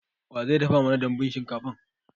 Wa zai dafa mana dambun shinkafan?